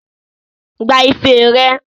Gba ife rẹ!